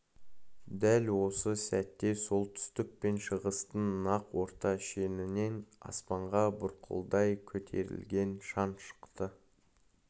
дәл осы сәтте солтүстік пен шығыстың нақ орта шенінен аспанға бұрқылдай көтерілген шаң шықты